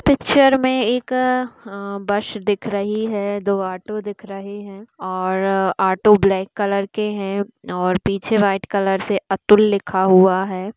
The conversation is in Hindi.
पिक्चर में एक अ बस दिख रही है दो ऑटो दिख रही है और ऑटो ब्लैक कलर के है और पीछे व्हाइट कलर से अतुल लिखा हुआ है।